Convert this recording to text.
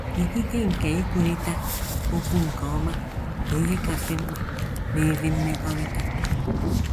Ikike nke ikwurịta okwu nke ọma bụ ihe kasị mkpa n’ezi mmekọrịta.